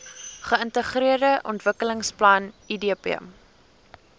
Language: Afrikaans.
geintegreerde ontwikkelingsplan idp